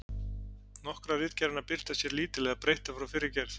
Nokkrar ritgerðanna birtast hér lítillega breyttar frá fyrri gerð.